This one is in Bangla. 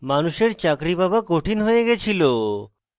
মানুষের চাকরী পাওয়া কঠিন হয়ে গিয়েছিল